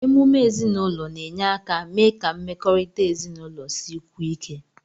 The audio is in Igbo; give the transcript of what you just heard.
Emume ezinụlọ na-enye aka mee ka mmekọrịta ezinụlọ sikwuo ike.